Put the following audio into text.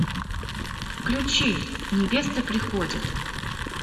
включи невеста приходит